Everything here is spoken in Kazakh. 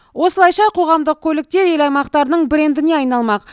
осылайша қоғамдық көліктер ел аймақтарының брендіне арналмақ